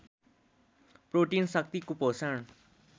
protein शक्ति कुपोषण